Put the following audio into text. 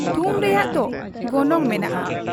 ᱛᱷᱩᱢ ᱨᱮᱭᱟᱜ ᱫᱚ ᱜᱚᱱᱚᱝ ᱢᱮᱱᱟᱜ ᱟ ᱾